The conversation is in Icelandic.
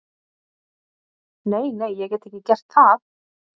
Nei, nei, ég get ekki gert það.